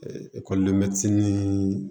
ekɔliden ni